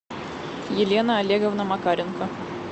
елена олеговна макаренко